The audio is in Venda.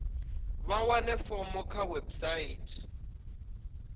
vha wane fomo kha website